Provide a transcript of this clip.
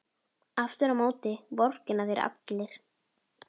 Aftur á móti vorkenna þér allir.